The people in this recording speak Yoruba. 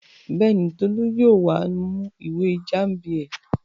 Bẹ́ẹ̀ni, Tolú yóò wá mú ìwé Jámánì ẹ̀.